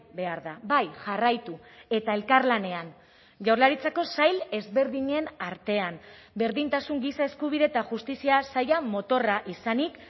behar da bai jarraitu eta elkarlanean jaurlaritzako sail ezberdinen artean berdintasun giza eskubide eta justizia saila motorra izanik